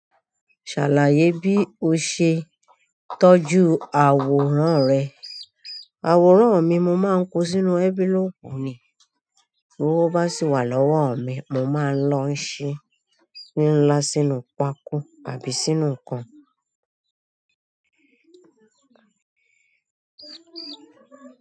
Ṣàlàyé bí o ṣe tọ́jú àwòrán rẹ. Àwòrán mi, mo máa ń kó sínú envelope mi, t'owó bá sì wà lọ́wọ́ mi, mo máa lọ ṣí ní ńlá sínú pákó àbí sínú nǹkan.